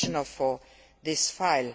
for this file.